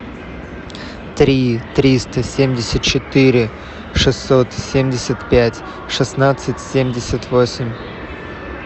три триста семьдесят четыре шестьсот семьдесят пять шестнадцать семьдесят восемь